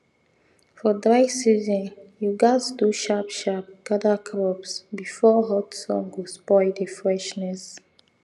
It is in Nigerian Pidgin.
for dry season you gatz do sharp sharp gather crops before hot sun go spoil the freshness